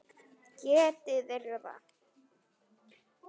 Geti þeir það?